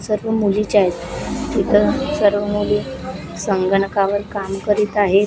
सर्व मुलीच आहेत तिथं सर्व मुली संगणकावर काम करीत आहेत.